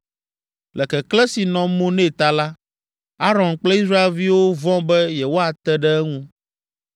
Le keklẽ si nɔ mo nɛ ta la, Aron kple Israelviwo vɔ̃ be yewoate ɖe eŋu.